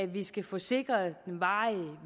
vi skal få sikret varig